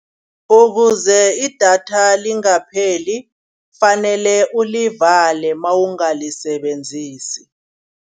Ukuze idatha lingapheli kufanele ulivale mawungalisebenzisi.